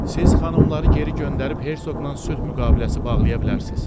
Siz xanımları geri göndərib hersoqla sülh müqaviləsi bağlaya bilərsiz.